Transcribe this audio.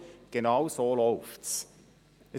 Genau so läuft es: